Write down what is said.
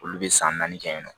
Olu bɛ san naani kɛ yen nɔ